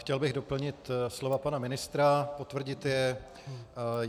Chtěl bych doplnit slova pana ministra, potvrdit je.